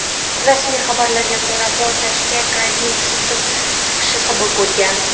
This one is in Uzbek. Rasmiy xabarlarga ko‘ra, portlashga gazning sizib chiqishi sabab bo‘lgan.